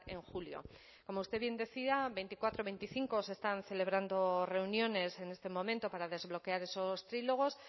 en julio como usted bien decía veinticuatro y veinticinco se están celebrando reuniones en este momento para desbloquear esos trílogos